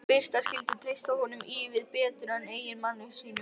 Birta skyldi treysta honum ívið betur en eiginmanni sínum.